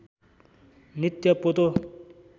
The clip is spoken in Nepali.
नित्य पोतो